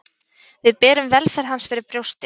Við berum velferð hans fyrir brjósti